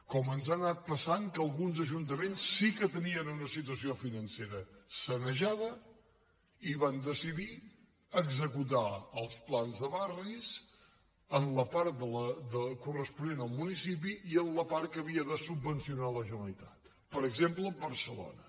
com ens ha anat passant que alguns ajuntaments sí que tenien una situació financera sanejada i van decidir executar els plans de barris en la part corresponent al municipi i en la part que havia de subvencionar la generalitat per exemple barcelona